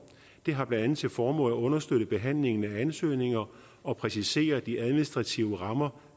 det har blandt andet til formål at understøtte behandlingen af ansøgninger og præcisere de administrative rammer